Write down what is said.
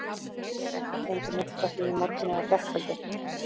Ég hef ekki fengið neitt frá því í morgun eða gærkvöldi.